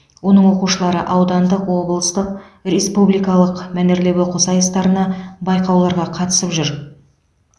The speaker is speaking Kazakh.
оның оқушылары аудандық облыстық республикалық мәнерлеп оқу сайыстарына байқауларға қатысып жүр